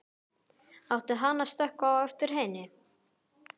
Átti hann að stökkva á eftir henni?